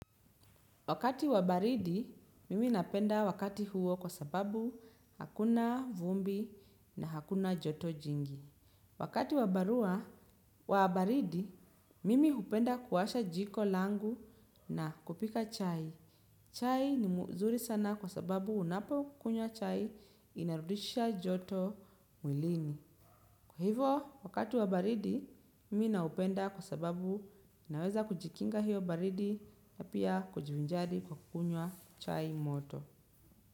Wakati wa baridi, mimi napenda wakati huo kwa sababu hakuna vumbi na hakuna joto jingi. Wakati wa baridi, mimi hupenda kuwasha jiko langu na kupika chai. Chai ni mzuri sana kwa sababu unapokunywa chai inarudisha joto mwilini. Kwa hivo, wakati wa baridi, mimi naupenda kwa sababu naweza kujikinga hiyo baridi ya pia kujivinjari kwa kukunywa chai moto.